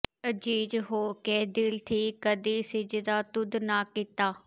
ਆਜਿਜ਼ ਹੋ ਕੇ ਦਿਲ ਥੀਂ ਕਦਈਂ ਸਿਜਦਾ ਤੁਧ ਨਾ ਕੀਤਾ